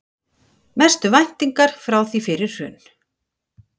Mestu væntingar frá því fyrir hrun